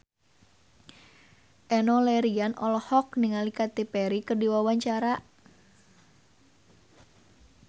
Enno Lerian olohok ningali Katy Perry keur diwawancara